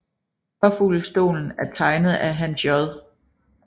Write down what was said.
Påfuglestolen er tegnet af Hans J